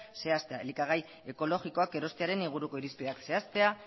zehaztea elikagai ekologikoak erostearen inguruko irizpideak zehaztea